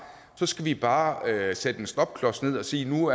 skal vi bare sætte en stopklods ned og sige at nu